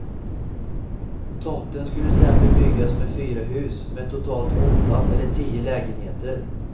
Tomten skulle sedan bebyggas med fyra hus med totalt åtta eller tio lägenheter.